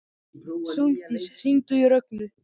Sóldís, hringdu í Rögnu.